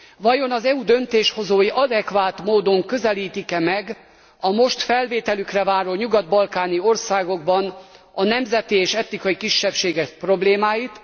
Vajon az EU döntéshozói adekvát módon közelítik e meg a most felvételükre váró nyugat balkáni nemzeti és etnikai kisebbségek problémáit?